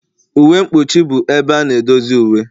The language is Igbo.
Uwe mkpuchi bụ ebe a na-edozi uwe.